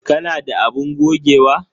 Ka na da abun gogewa?